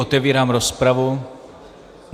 Otevírám rozpravu.